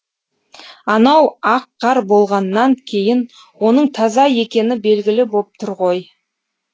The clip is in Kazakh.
анау ақ қар болғаннан кейін оның таза екені белгілі боп тұр ғой